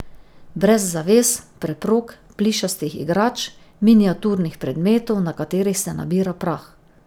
Brez zaves, preprog, plišastih igrač, miniaturnih predmetov, na katerih se nabira prah.